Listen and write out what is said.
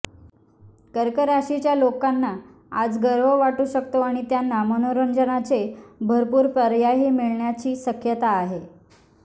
कर्क राशीच्या लोकांना आज गर्व वाटू शकतो आणि त्यांना मनोरंजनाचे भरपूर पर्यायही मिळण्याची शक्यता आहे